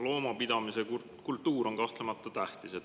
Loomapidamise kultuur on kahtlemata tähtis.